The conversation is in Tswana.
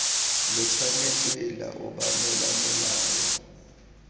lo tshwanetse lwa obamela molao